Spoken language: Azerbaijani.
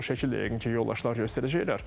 O şəkil də yəqin ki, yoldaşlar göstərəcəklər.